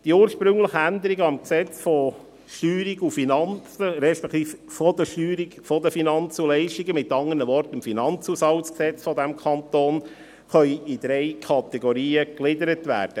Die ursprünglichen Änderungen am FLG, mit anderen Worten am Finanzhaushaltsgesetz dieses Kantons, können in drei Kategorien gegliedert werden.